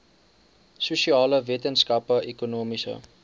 sosiale wetenskappe ekonomiese